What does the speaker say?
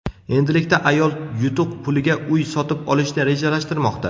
Endilikda ayol yutuq puliga uy sotib olishni rejalashtirmoqda.